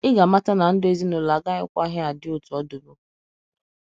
Ị ga amata na ndụ ezinụlọ agakwaghị adị otú ọ dịbu.